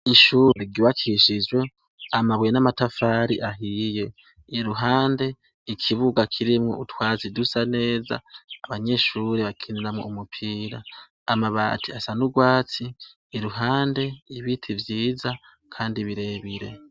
Ishure ryubakishijwe amabuye n'amatafari ahiye, iruhande ikibuga kirimwo utwatsi dusa neza abanyeshure bakiniramwo umupira, amabati asa nurwatsi, iruhande ibiti vyiza kandi birebire.